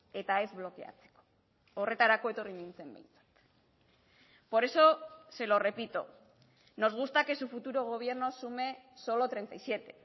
eta ez blokeatzeko horretarako etorri nintzen behintzat por eso se lo repito nos gusta que su futuro gobierno sume solo treinta y siete